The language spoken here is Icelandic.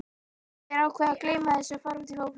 Þeir ákveða að gleyma þessu og fara út í fótbolta.